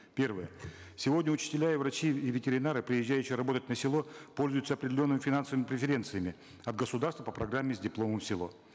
первое сегодня учителя и врачи и ветеринары приезжающие работать на село пользуются определенными финансовымии преференциями от государства по программе с дипломом в село